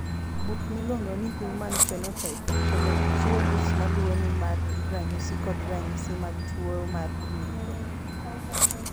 Buk miluongo ni Human Phenotype Ontology chiwo list ma luwoni mar ranyisi kod ranyisi mag tuo mar Milroy.